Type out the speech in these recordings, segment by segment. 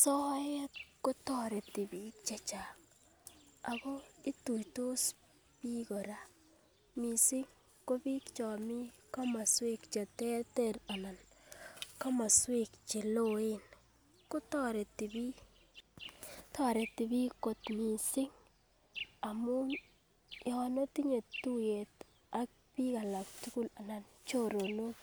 soet kotoreti biik chechang ago ituitos biik koraa, mising ko biik chon mii komosweek cheterter anan komosweek cheloen kotoreti biik, toreti biik koot mising amuun yaan otinye tuyeet ak biik alak tugul anan choronook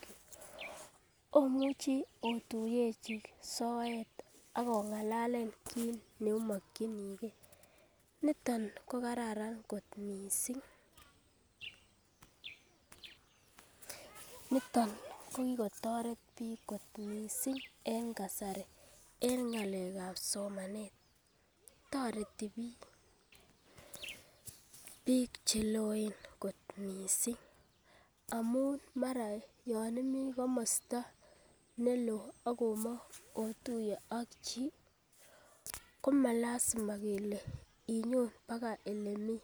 omuche otuyechi soeet ak ongalalen kiit neomokyinigee, niton ko karararan kot mising, niton ko kigotoret biik koot mising en kasari en ngaleek ab somaneet, toreti biik cheloen kot mising amuun maraan yoon imii komosta neloo agomoe otuye ak chi komalasima kele inyoon bagai olemii,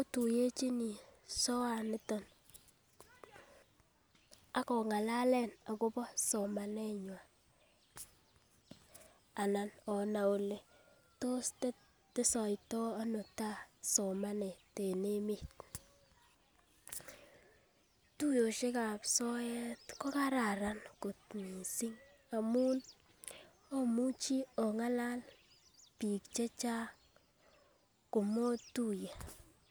otuyechini soaniton ak ongalalen agobo somanenywaan anan onaai ole tos tesoitoi ano taai somaneet en emet, tuyoshek ab soet ko karararn kot mising amuun omuche ongalal biik chechang komotuye